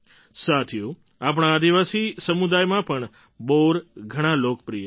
સાથીઓ આપણા આદિવાસી સમુદાયમાં પણ બોર ઘણાં લોકપ્રિય રહ્યાં છે